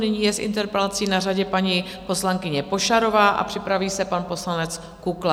Nyní je s interpelací na řadě paní poslankyně Pošarová a připraví se pan poslanec Kukla.